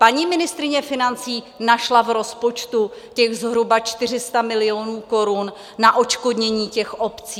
Paní ministryně financí našla v rozpočtu těch zhruba 400 milionů korun na odškodnění těch obcí.